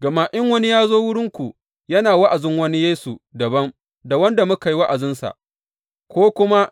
Gama in wani ya zo wurinku yana wa’azin wani Yesu dabam da wanda muka yi wa’azinsa, ko kuma